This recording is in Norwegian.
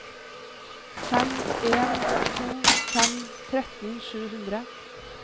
fem en to fem tretten sju hundre